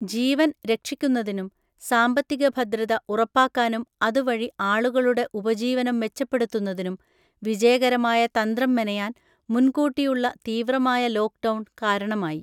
ജീവൻ രക്ഷിക്കുന്നതിനും, സാമ്പത്തിക ഭദ്രത ഉറപ്പാക്കാനും അതു വഴി ആളുകളുടെ ഉപജീവനം മെച്ചപ്പെടുത്തുന്നതിനും വിജയകരമായ തന്ത്രം മെനയാൻ, മുൻക്കൂട്ടിയുള്ള തീവ്രമായ ലോക്ക്ഡൗൺ കാരണമായി